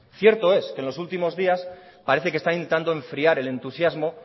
cierto es que en los últimos días parece que está intentando enfriar el entusiasmo